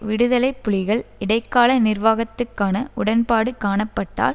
விடுதலை புலிகள் இடைக்கால நிர்வாகத்துக்கான உடன்பாடு காணப்பட்டால்